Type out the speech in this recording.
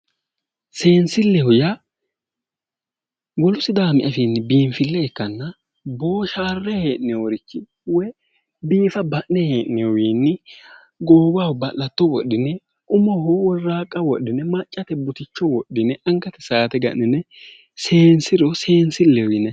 Seensileho yaa wolu sidaami afiini biinfile ikkanna booshale hee'noyirichi woyi biifa ba'ne hee'nonirichiwinni goowaho ba'latto wodhine umoho woraaqa wodhine maccate buticho wodhine angate saate ga'nine seensiro seensileho yinnanni.